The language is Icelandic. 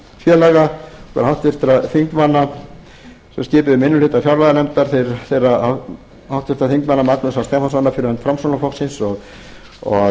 og háttvirtra þingmanna sem skipuðum minni hluta fjárlaganefndar þeirra háttvirtra þingmanna magnúsar stefánssonar fyrir hönd framsóknarflokksins og